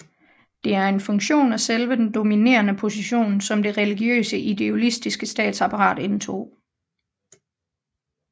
Det er en funktion af selve den dominerende position som det religiøse ideologiske statsapparat indtog